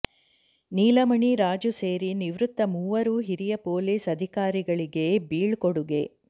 ನೀಲಮಣಿ ರಾಜು ಸೇರಿ ನಿವೃತ್ತ ಮೂವರು ಹಿರಿಯ ಪೊಲೀಸ್ ಅಧಿಕಾರಿಗಳಿಗೆ ಬೀಳ್ಕೊಡುಗೆ